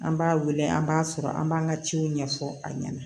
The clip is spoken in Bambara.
An b'a wele an b'a sɔrɔ an b'an ka ciw ɲɛfɔ a ɲɛna